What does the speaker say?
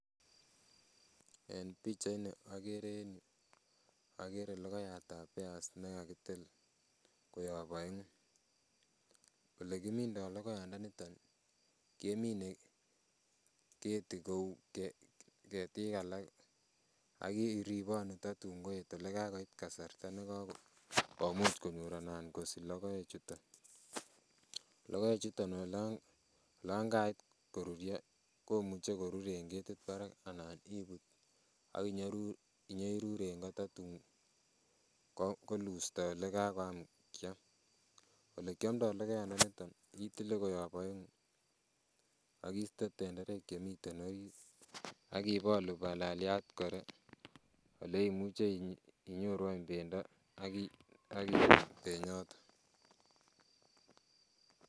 En pichait ni okere en yuu okere logoiyatab peas nekakitil koyob oeng'u, elekimindo logoiyandaniton kemine keti kou ketiik alak ak iribonu tatun koet olekakoit kasarta nekakomuch konyor anan kosich logoek chuton. Logoek chuton olan kait koruryo komuche koruryo en ketit barak anan ibut ak inyerur en go tatun kolusto olekakoyam kiam. Olekiomdo logoiyandaniton itile koyob oeng'u ak iste tenderek chemiten orit ak ibolu balaliat kora oleimuche inyoru any bendo, ak ih benyoton